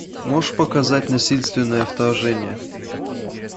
можешь показать насильственное вторжение